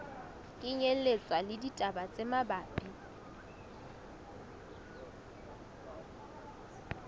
kenyelletswa le ditaba tse mabapi